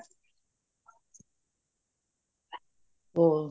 ਹੋਰ